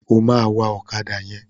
Ó máa wa ọ̀kádà yẹn.